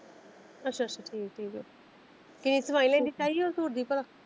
ਅੱਛਾ ਅੱਛਾ ਠੀਕ ਐ ਕੀ ਸਵਾਈ ਲੈਂਦ ਤਾਈ ਉਹ ਸੂਟ ਦੀ?